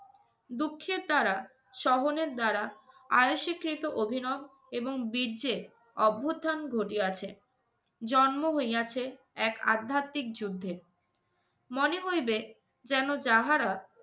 দুঃখের দ্বারা, সহনের দ্বারা, আয়ুষীকৃত অভিনব এবং বীর্যের অভ্যুত্থান ঘটিয়াছে, জন্ম হইয়াছে এক আধ্যাত্মিক যুদ্ধের। মনে হইবে যেন যাহারা